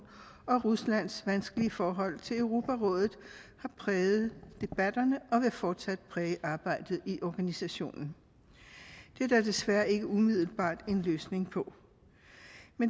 og ruslands vanskelige forhold til europarådet har præget debatterne og vil fortsat præge arbejdet i organisationen det er der desværre ikke umiddelbart en løsning på